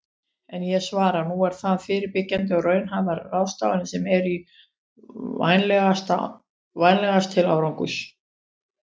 En ég svara: Nú eru það fyrirbyggjandi og raunhæfar ráðstafanir sem eru vænlegastar til árangurs.